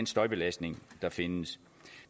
støjbelastning der findes